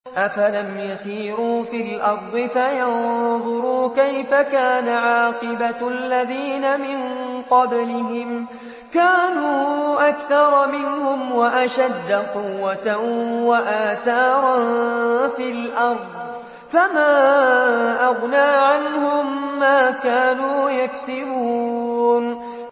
أَفَلَمْ يَسِيرُوا فِي الْأَرْضِ فَيَنظُرُوا كَيْفَ كَانَ عَاقِبَةُ الَّذِينَ مِن قَبْلِهِمْ ۚ كَانُوا أَكْثَرَ مِنْهُمْ وَأَشَدَّ قُوَّةً وَآثَارًا فِي الْأَرْضِ فَمَا أَغْنَىٰ عَنْهُم مَّا كَانُوا يَكْسِبُونَ